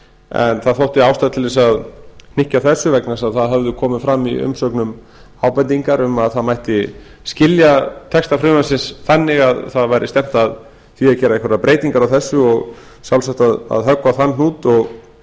en það þótti ástæða til að hnykkja á þessu vegna þess að það höfðu komið fram í umsögnum ábendingar um að það mætti skilja texta frumvarpsins þannig að það væri stefnt að því að gera einhverjar breytingar á þessu og sjálfsagt að höggva á þann hnút og